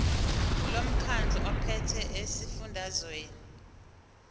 lomkhandlu ophethe esifundazweni